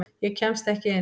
Ég kemst ekki inn.